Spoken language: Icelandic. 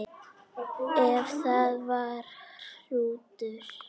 Ef það var hrútur.